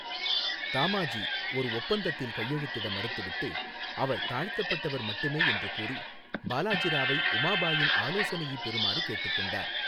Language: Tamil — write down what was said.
தாமாஜி ஒரு ஒப்பந்தத்தில் கையெழுத்திட மறுத்துவிட்டு, அவர் தாழ்த்தப்பட்டவர் மட்டுமே என்று கூறி, பாலாஜி ராவை உமாபாயின் ஆலோசனையைப் பெறுமாறு கேட்டுக்கொண்டார்.